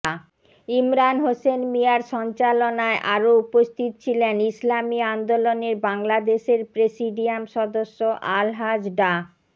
ইমরান হোসেন মিয়ার সঞ্চালনায় আরও উপস্থিত ছিলেন ইসলামী আন্দোলন বাংলাদেশের প্রেসিডিয়াম সদস্য আলহাজ ডা